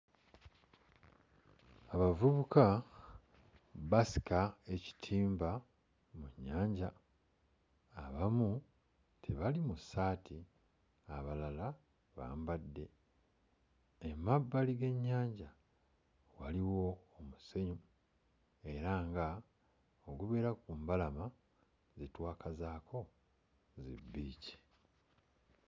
Abavubuka basika ekitimba mu nnyanja. Abamu tebali mu ssaati, abalala bambadde. Emabbali g'ennyanja waliwo omusenyu era ng'ogubeera ku mbalama ze twakazaako zibbiici.